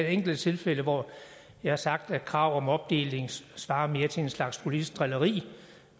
enkelte tilfælde hvor jeg har sagt at krav om opdeling svarer mere til en slags politisk drilleri